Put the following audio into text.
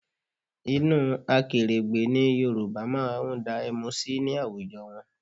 Inú akèrègbè ni Yorùbá máa ń dá ẹmu sí ní àwùjọ wọn